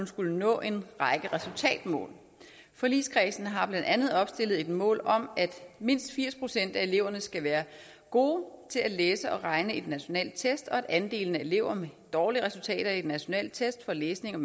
skulle nå en række resultatmål forligskredsen har blandt andet opstillet et mål om at mindst firs procent af eleverne skal være gode til at læse og regne i nationale test og at andelen af elever med dårlige resultater i nationale test for læsning og